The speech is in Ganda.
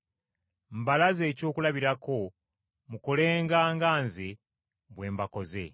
Mbalaze ekyokulabirako, mukolenga nga Nze bwe mbakoze.